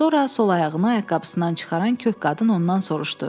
Sonra sol ayağını ayaqqabısından çıxaran kök qadın ondan soruşdu.